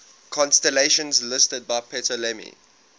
constellations listed by ptolemy